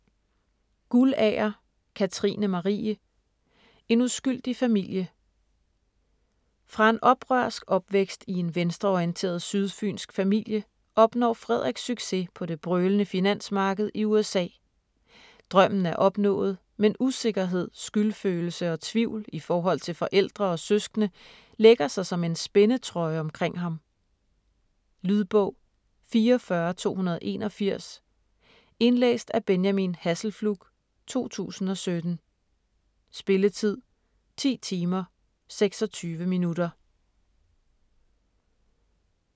Guldager, Katrine Marie: En uskyldig familie Fra en oprørsk opvækst i en venstreorienteret sydfynsk familie opnår Frederik succes på det brølende finansmarked i USA. Drømmen er opnået, men usikkerhed, skyldfølelse og tvivl i forhold til forældre og søskende lægger sig som en spændetrøje omkring ham. Lydbog 44281 Indlæst af Benjamin Hasselflug, 2017. Spilletid: 10 timer, 26 minutter.